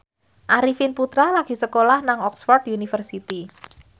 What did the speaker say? Arifin Putra lagi sekolah nang Oxford university